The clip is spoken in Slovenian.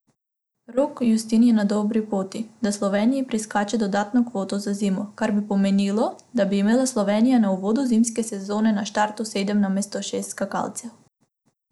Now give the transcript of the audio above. Rok Justin je na dobri poti, da Sloveniji priskače dodatno kvoto za zimo, kar bi pomenilo, da bi imela Slovenija na uvodu zimske sezone na štartu sedem namesto šest skakalcev.